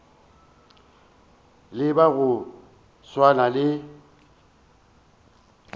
le ba go swana le